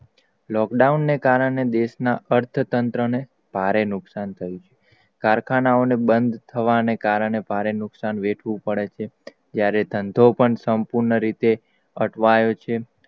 lockdown ને કારણે દેસ માં અર્થતંત્ર ને ભારે નુકસાન થાય છે. કારખાનાઓને બંદ થવા ને કારણે ભારે નુકસાન વેઠવું પડે છે. જ્યારે ધંધોપણ સંપૂર્ણ અટવાયો છે.